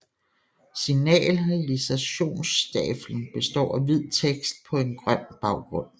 Signalisationstafeln består af hvid tekst på en grøn baggrund